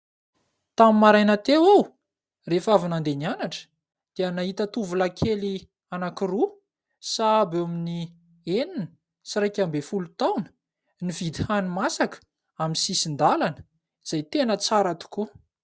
Tamin'ny maraina teo aho, rehefa avy nandeha nianatra, dia nahita tovolahy kely anankiroa sahabo eo amin'ny enina sy iraika ambin'ny folo taona, nividy hani-masaka amin'ny sisin-dalana, izay tena tsara tokoa.